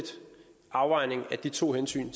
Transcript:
afvejning af de to hensyn